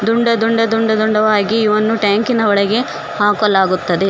ದುಂಡ ದುಂಡ ದುಂಡ ದುಂಡವಾಗಿ ಇವನು ಟ್ಯಾಂಕಿ ನ ಒಳಗೆ ಹಾಕಲಾಗುತ್ತದೆ.